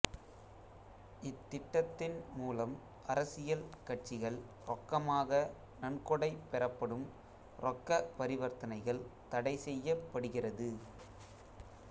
இத்திட்டத்தின் மூலம் அரசியல் கட்சிகள் ரொக்கமாக நன்கொடை பெறப்படும் ரொக்கப் பரிவர்த்தனைகள் தடைசெய்யப்படுகிறது